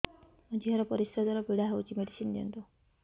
ମୋ ଝିଅ ର ପରିସ୍ରା ଦ୍ଵାର ପୀଡା ହଉଚି ମେଡିସିନ ଦିଅନ୍ତୁ